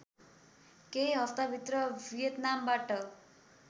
केही हफ्ताभित्र भियतनामबाट